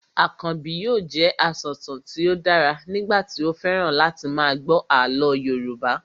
Akànbi yóò jẹ asọ̀tàn tí ó dára nígbà tí ó fẹ́ràn láti máa gbọ́ àlọ́ Yorùbá